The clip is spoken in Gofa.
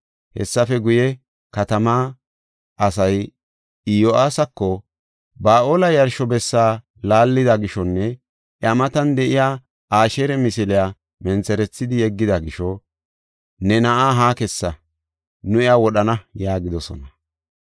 Hessafe guye, katamaa asay Iyo7aasako, “Ba7aale yarsho bessa laallida gishonne iya matan de7iya Asheera misiliya mentherethidi yeggida gisho ne na7aa haa kessa; nu iya wodhana” yaagidosona.